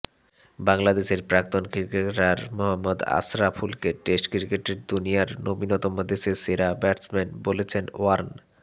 বাংলাদেশের প্রাক্তন ক্রিকেটার মহম্মদ আশরাফুলকে টেস্ট ক্রিকেটের দুনিয়ার নবীনতম দেশের সেরা ব্যাটসম্যান বলেছেন ওয়ার্ন